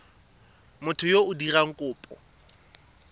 motho yo o dirang kopo